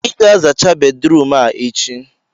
ị ga-azacha bedrum a echi!